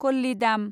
कल्लिदाम